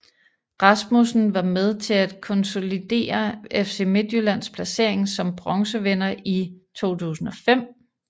Rasmussen var med til at konsolidere FC Midtjyllands placering som bronzevinder i 2005